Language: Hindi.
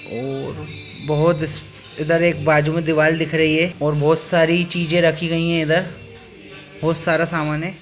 --और बहुत इस इधर एक बाजू मे दीवाल दिख रही है और बहुत सारी चीजे रखी गई है इधर बहुत सारा सामान है।